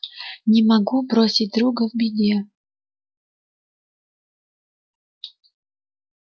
не могу бросить друга в беде